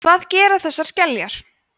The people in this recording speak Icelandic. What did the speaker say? hvað gera þessar skeljar